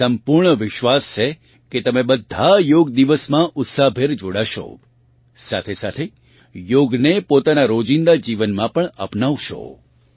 મને સંપૂર્ણ વિશ્વાસ છે કે તમે બધા યોગ દિવસ માં ઉત્સાહભેર જોડાશો સાથે સાથે યોગને પોતાના રોજીંદા જીવનમાં પણ અપનાવશો